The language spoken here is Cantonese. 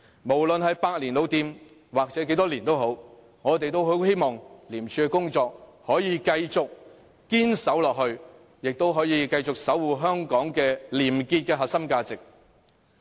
無論是百年或多少年的老店，我們也很希望廉署可以繼續堅守崗位，可以繼續守護香港廉潔的核心價值。